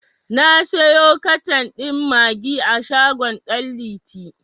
Na siyo katan ɗin maggi a shagon ɗan liti.